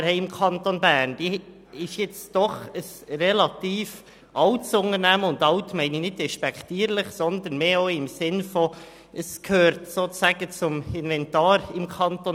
Die BKW im Kanton Bern ist ein relativ altes Unternehmen, wobei ich «alt» nicht despektierlich meine, sondern vielmehr dahingehend, dass sie im Kanton Bern sozusagen zum Inventar gehört.